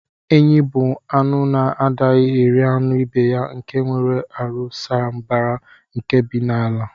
Enyi bu anụ na adighi eri anụ ibeya nke nwere arụ saa mbara nke bi n'ala.